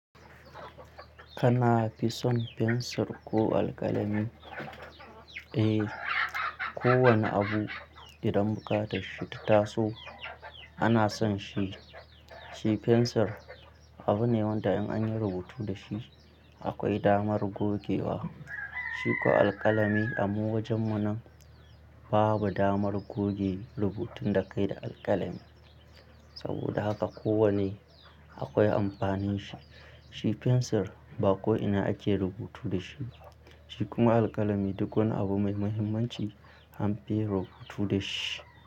Kafi son fensir ko alkalami? Eh, kowane abu idan bukata shi ta taso ana son shi. Shi fensir abu ne wanda in an yi rubutu da shi akwai damar gogewa. Shi ko alkalami abuwajen mu nan Babu damar goge rubutun da ka yi da alkalami. Saboda haka kowane akwai amfanin shi. Shi fensir ba ko ina ake rubutu da shi. Shi kuma alkalami duk wani abu mai muhimmanci an fi yi rubutu da shi.